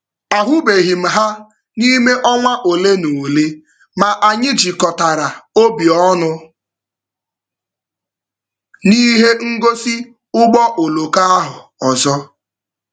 A hụbeghị m ha n'ime ọnwa ole na ole ma anyị jikọtara obi ọnụ n'ihe ngosi ụgbọ oloko ahụ ọzọ.